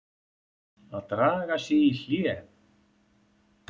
AÐ DRAGA SIG Í HLÉ.